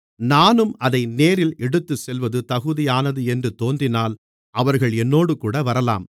நானும் அதை நேரில் எடுத்துச்செல்வது தகுதியானது என்று தோன்றினால் அவர்கள் என்னோடுகூட வரலாம்